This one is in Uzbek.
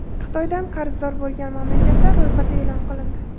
Xitoydan qarzdor bo‘lgan mamlakatlar ro‘yxati e’lon qilindi.